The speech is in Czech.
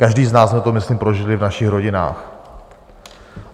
Každý z nás jsme to, myslím, prožili v našich rodinách.